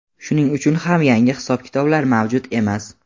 shuning uchun ham yangi hisob-kitoblar mavjud emas.